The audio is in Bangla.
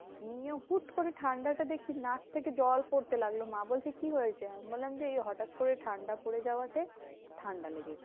নিয়ে হুট্ করে ঠান্ডাটা দেখছি নাক থেকে জল পড়তে লাগলো। মা বলছে কি হয়েছে? আমি বললাম যে, এই হটাৎ করে ঠান্ডা পরে যাওয়া তে ঠান্ডা লেগেছে।